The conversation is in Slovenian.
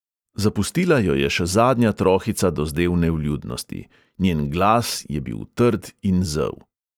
Zapustila jo je še zadnja trohica dozdevne vljudnosti; njen glas je bil trd in zel.